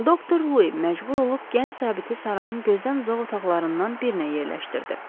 Doktor Lui məcbur olub gənc zabiti sarayın gözdən uzaq otaqlarından birinə yerləşdirdi.